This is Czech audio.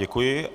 Děkuji.